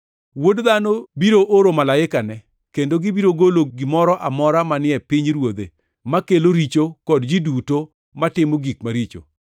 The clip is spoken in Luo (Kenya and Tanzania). Wuod Dhano biro oro malaikane, kendo gibiro golo gimoro amora manie pinyruodhe makelo richo kod ji duto matimo gik maricho.